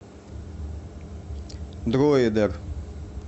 дройдер